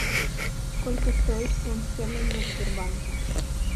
сколько стоит фунт стерлингов в сбербанке